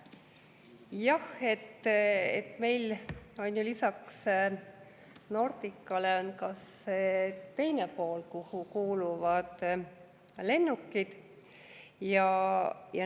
Jah, meil on ju lisaks Nordicale ka see teine pool, kuhu kuuluvad lennukid.